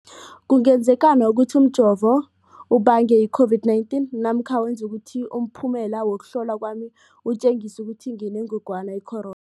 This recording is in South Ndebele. kungenzekana ukuthi umjovo ubange i-COVID-19 namkha wenze ukuthi umphumela wokuhlolwa kwami utjengise ukuthi nginengogwana i-coron